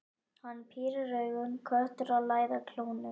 Hann pírir augun, köttur að læða klónum.